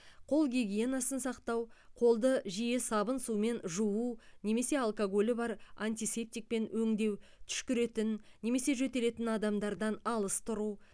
қол гигиенасын сақтау қолды жиі сабын сумен жуу немесе алкогольі бар антисептикпен өңдеу түшкіретін немесе жөтелетін адамдардан алыс тұру